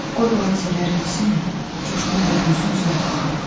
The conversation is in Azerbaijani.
Qoy bu hadisələr bitsin, Coşqun evə dönsün, sonra baxarıq.